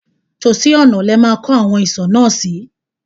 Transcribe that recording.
Tòsí ọ̀nà ni ẹ máa kọ́ awon ìsò náà sí.